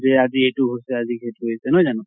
যে আজি এইটো হৈছে আজি সেইটো হৈছে নহয় জানো?